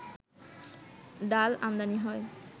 ডাল আমদানি হয়